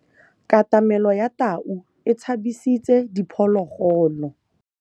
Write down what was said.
Katamêlô ya tau e tshabisitse diphôlôgôlô.